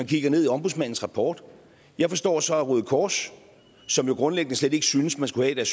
kigger i ombudsmandens rapport jeg forstår så at røde kors som grundlæggende slet ikke synes man skulle have